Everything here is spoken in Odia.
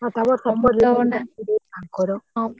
ଆଉ ତାପରେ